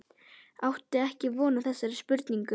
Átti ekki von á þessari spurningu.